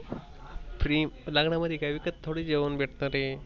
Free लग्ना मध्ये विकत थोडाई जेवण भेटना आहे?